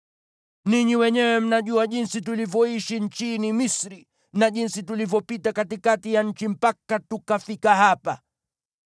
Ninyi wenyewe mnajua jinsi tulivyoishi nchini Misri na jinsi tulivyopita katikati ya nchi mpaka tukafika hapa.